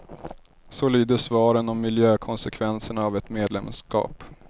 Så lyder svaren om miljökonsekvenserna av ett medlemskap.